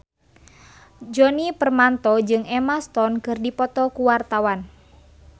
Djoni Permato jeung Emma Stone keur dipoto ku wartawan